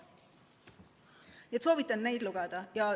Nii et soovitan neid lugeda.